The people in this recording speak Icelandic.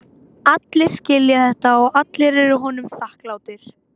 Allir skilja þetta og allir eru honum þakklátir.